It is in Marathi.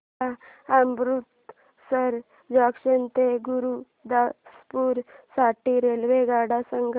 मला अमृतसर जंक्शन ते गुरुदासपुर साठी रेल्वेगाड्या सांगा